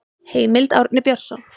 Heimild: Árni Björnsson.